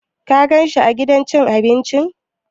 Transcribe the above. Ka gan shi a gidan cin abincin?